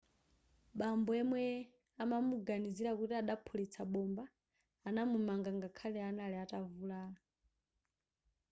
bambo yemwe amamuganizira kuti adaphulitsa bomba anamumanga ngakhale anali atavulala